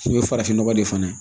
K'i bɛ farafinnɔgɔ de fana